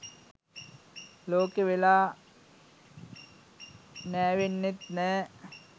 ලෝකෙ වෙලා නෑවෙන්නෙත් නෑ.